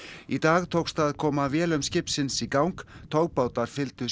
í dag tókst að koma vélum skipsins í gang togbátar fylgdu